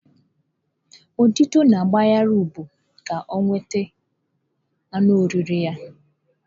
Ududo na-agbagharị ụgbụ ka ọ nwụde anụ oriri ha.